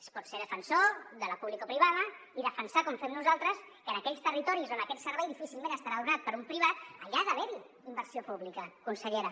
es pot ser defensor de la publicoprivada i defensar com fem nosaltres que en aquells territoris on aquest servei difícilment serà donat per un privat ha d’haver·hi inversió pública consellera